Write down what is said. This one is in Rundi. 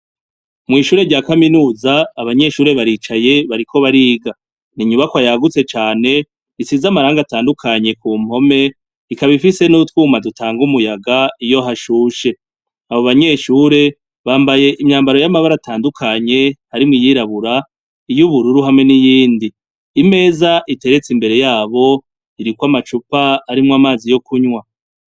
Mw'ishure rya kaminuza, abanyeshure baricaye bariko bariga. Ni inyubakwa yagutse cane isize amarangi atandukanye ku mpome, ikaba ifise n'utwuma dutanga umuyaga iyo hashushe. Abo banyeshure bambaye imyambaro y'amabara atandukanye harimwo iyirabura'iy'ubururu hamwe n'iyindi. Imeza igeretse imbere yabo, iriko amacupa arimwo amazi yo kunwa.